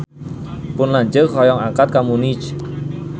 Pun lanceuk hoyong angkat ka Munich